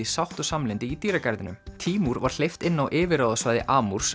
sátt og samlyndi í dýragarðinum tímúr var hleypt inn á yfirráðasvæði